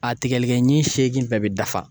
A tigɛlikɛɲi seegin bɛɛ bɛ dafa.